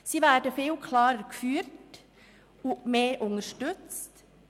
Sie werden viel klarer geführt und mehr unterstützt.